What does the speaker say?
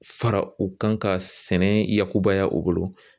Fara u kan ka sɛnɛ yakubaya u bolo